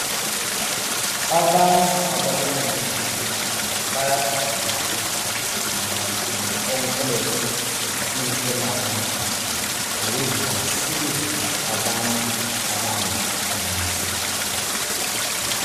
Abantu ababona ngezempilakahle bayafundiswa mayelana nge oncology le internal medicine ukuze basize abantu abale cancer.